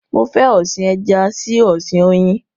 Mo fẹ́ ọ̀sin ẹja sí ọ̀sin oyin